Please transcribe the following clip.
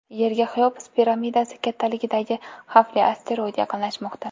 Yerga Xeops piramidasi kattaligidagi xavfli asteroid yaqinlashmoqda.